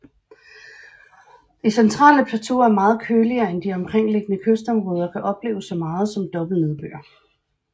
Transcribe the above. Det centrale plateau er meget køligere end de omkringliggende kystområder og kan opleve så meget som dobbelt nedbør